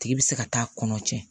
Tigi bɛ se ka taa kɔnɔ cɛn